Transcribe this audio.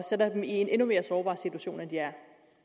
sætter dem i en endnu mere sårbar situation end de er